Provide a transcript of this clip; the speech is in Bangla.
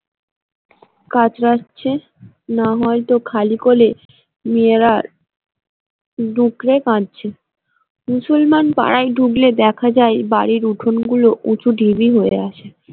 কাতরাচ্ছে না হয়তো খালি কোলে মেয়েরা ডুকরে কাঁদছে মুসলমান পাড়ায় ঢুকলে দেখা যায় বাড়ির উঠোনগুলো উঁচু ঢিবি হয়ে আছে।